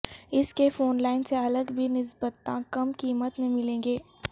اس کے phone line سے الگ بھی نسبتا کم قیمت میں ملیں گے